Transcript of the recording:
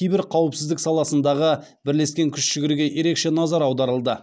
кибер қауіпсіздік саласындағы бірлескен күш жігерге ерекше назар аударылды